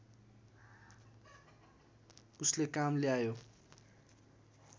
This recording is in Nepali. उसले काम ल्यायो